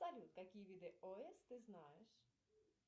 салют какие виды ос ты знаешь